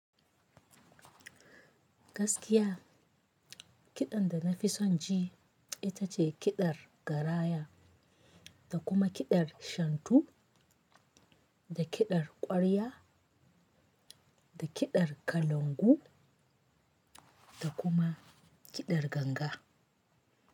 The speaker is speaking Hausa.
Gaskiya kiɗan da na fi son ji ita ce kiɗar garaya da kuma kiɗar shantu, da kiɗar ƙwarya, da kiɗar kalangu, da kuma kiɗar ganga.